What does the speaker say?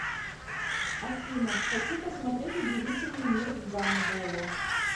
афина хочу посмотреть удивительный мир гамбола